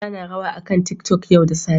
Aisha na rawa akan tiktok yau da safe